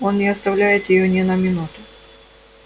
он не оставляет её ни на минуту